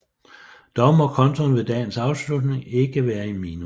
Dog må kontoen ved dagens afslutning ikke være i minus